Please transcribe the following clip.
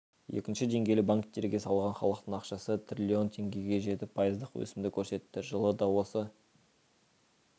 екінші деңгейлі банктерге салған халықтың ақшасы трлн теңгеге жетіп пайыздық өсімді көрсетті жылы да осы